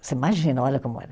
Você imagina, olha como era.